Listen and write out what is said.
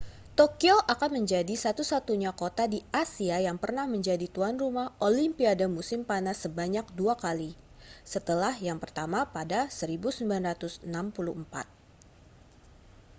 tokyo akan menjadi satu-satunya kota di asia yang pernah menjadi tuan rumah olimpiade musim panas sebanyak dua kali setelah yang pertama pada 1964